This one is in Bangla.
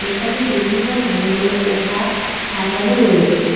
এখানে বিভিন্ন ধরনের পোশাক সাজানো রয়েছে।